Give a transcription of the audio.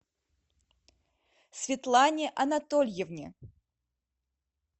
светлане анатольевне